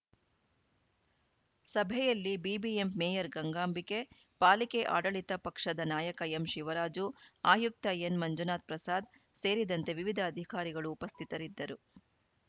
ಸಭೆಯಲ್ಲಿ ಬಿಬಿಎಂಪ್ ಮೇಯರ್‌ ಗಂಗಾಂಬಿಕೆ ಪಾಲಿಕೆ ಆಡಳಿತ ಪಕ್ಷದ ನಾಯಕ ಎಂಶಿವರಾಜು ಆಯುಕ್ತ ಎನ್‌ಮಂಜುನಾಥ್‌ ಪ್ರಸಾದ್‌ ಸೇರಿದಂತೆ ವಿವಿಧ ಅಧಿಕಾರಿಗಳು ಉಪಸ್ಥಿತಿರಿದ್ದರು